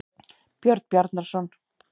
Björn Bjarnarson.